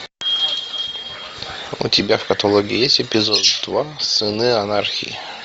у тебя в каталоге есть эпизод два сыны анархии